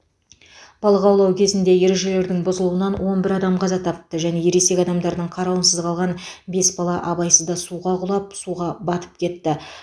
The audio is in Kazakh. балық аулау кезінде ережелердің бұзылуынан он бір адам қаза тапты және ересек адамдардың қарауынсыз қалған бес бала абайсызда суға құлап суға батып кетті